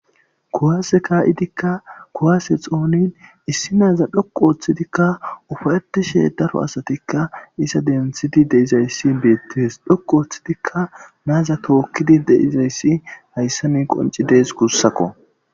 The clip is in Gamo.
kuwase kaa7idikka kuwase xoonin issi naaza dhoqu ooththidikka ufaeti she daro asatikka isa denthidi deizayssi beettees dhoqu ooththidikka naaza tookkidi deizayssi hayssa mi qonci dees kussakko